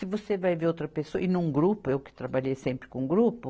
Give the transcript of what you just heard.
Se você vai ver outra pessoa, e num grupo, eu que trabalhei sempre com grupo,